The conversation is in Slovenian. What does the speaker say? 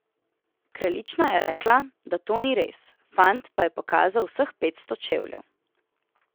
Kraljična je rekla, da to ni res, fant pa je pokazal vseh petsto čevljev.